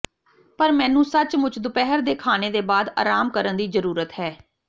ਪਰ ਮੈਨੂੰ ਸੱਚਮੁੱਚ ਦੁਪਹਿਰ ਦੇ ਖਾਣੇ ਦੇ ਬਾਅਦ ਆਰਾਮ ਕਰਨ ਦੀ ਜ਼ਰੂਰਤ ਹੈ